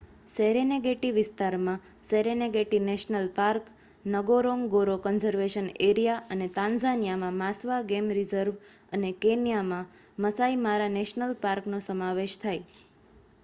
Serengeti વિસ્તારમાં Serengeti national park Ngorongoro conservation area અને તાન્ઝાનિયામાં માસ્વા ગેમ રિઝર્વ અને કેન્યામાં માસાઈ મારા નેશનલ રિઝર્વ નો સમાવેશ થાય